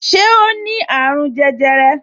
Ṣé o ní àrùn jẹjẹrẹ